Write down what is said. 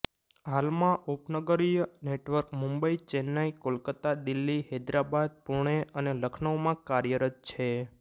હાલમાં ઉપનગરીય નેટવર્ક મુંબઈ ચેન્નાઈ કોલકાતા દિલ્હી હૈદરાબાદ પૂણે અને લખનઉમાં કાર્યરત છે